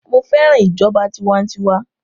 Mo fẹ́ràn ìjọba tiwantiwa